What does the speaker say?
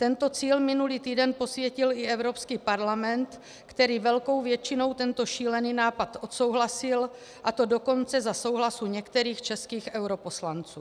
Tento cíl minulý týden posvětil i Evropský parlament, který velkou většinou tento šílený nápad odsouhlasil, a to dokonce za souhlasu některých českých europoslanců.